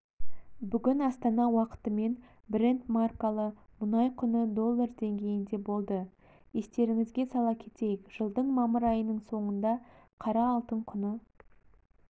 бүгін астана уақытымен брент маркалы мұнай құны доллар деңгейінде болды естеріңізге сала кетейік жылдың мамыр айының соңында қара алтын құны